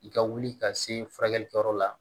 I ka wuli ka se furakɛlikɛyɔrɔ la